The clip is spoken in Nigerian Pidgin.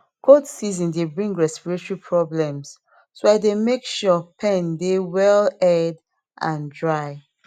cold season dey bring respiratory problems so i dey make sure pen dey well aired and dry